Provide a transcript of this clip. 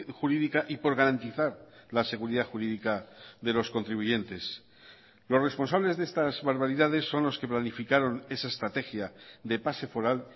jurídica y por garantizar la seguridad jurídica de los contribuyentes los responsables de estas barbaridades son los que planificaron esa estrategia de pase foral